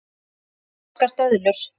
Ferskar döðlur